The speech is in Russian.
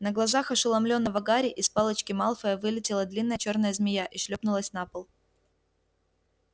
на глазах ошеломлённого гарри из палочки малфоя вылетела длинная чёрная змея и шлёпнулась на пол